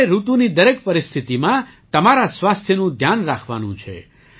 તમારે ઋતુની દરેક પરિસ્થિતિમાં તમારા સ્વાસ્થ્યનું ધ્યાન રાખવાનું છે